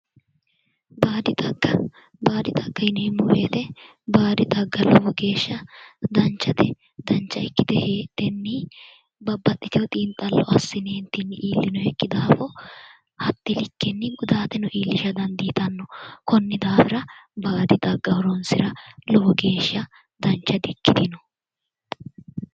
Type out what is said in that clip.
baadi xagga baadi xagga yineemmo woyte baadi xagga lowo geeshsha danchate dancha ikkite heedhenni babbaxitewo xiinxallo assine illonoykki daafo hatte likkenni gudaateno iillisha dandiitanno konni daafira baadi xagga horoonsira lowo geeshsha dancha di ikkitino